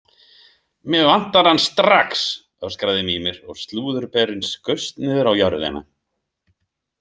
Mig vantar hann strax, öskraði Mímir og slúðurberinn skaust niður á jörðina.